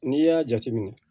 N'i y'a jateminɛ